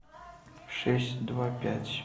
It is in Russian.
шесть два пять